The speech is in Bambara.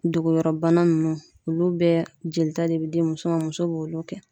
Dogoyɔrɔbana nunnu olu bɛɛ jelita de be di muso ma muso b'olu kɛ